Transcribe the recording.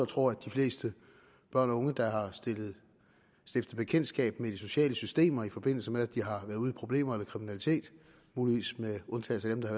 tror at de fleste børn og unge der har stiftet bekendtskab med de sociale systemer i forbindelse med at de har været ude i problemer eller kriminalitet muligvis med undtagelse af dem der